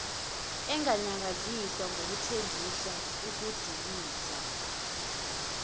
enganyakaziswa ngokuthengisa ukudiliza